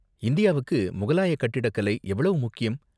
இந்தியாவுக்கு முகலாய கட்டிடக்கலை எவ்வளவு முக்கியம்?